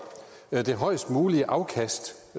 det højest mulige afkast